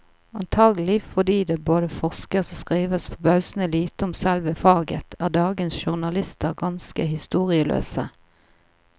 Antagelig fordi det både forskes og skrives forbausende lite om selve faget, er dagens journalister ganske historieløse.